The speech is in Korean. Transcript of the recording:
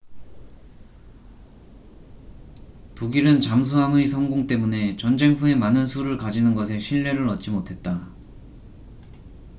독일은 잠수함의 성공 때문에 전쟁 후에 많은 수를 가지는 것에 신뢰를 얻지 못했다